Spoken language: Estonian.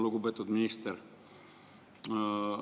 Lugupeetud minister!